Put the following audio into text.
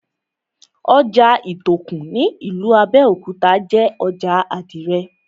Ojà Ìtòkù ní ìlú Abẹ́òkúta jé ojà àdìrẹ̀